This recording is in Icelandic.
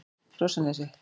Krossanesi